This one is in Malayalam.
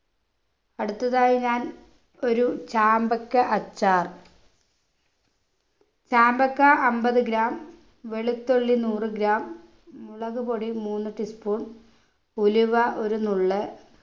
അടുത്തതായി ഞാൻ ഒരു ചാമ്പക്ക അച്ചാർ ചാമ്പക്ക അമ്പത് gram വെളുത്തുള്ളി നൂറു gram മുളകുപൊടി മൂന്നു tea spoon ഉലുവ ഒരു നുള്ള്